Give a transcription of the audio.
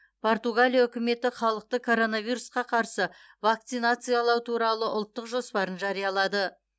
португалия үкіметі халықты коронавирусқа қарсы вакцинациялау туралы ұлттық жоспарын жариялады